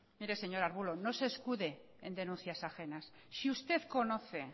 mire señor arbulo no se escude en denuncias ajenas si usted conoce